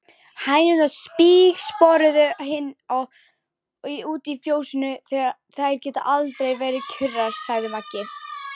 Hænurnar spígsporuðu inn og út í fjósinu, þær geta aldrei verið kjurar, sagði Maggi.